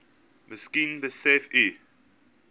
miskien besef u